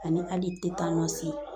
Ani hali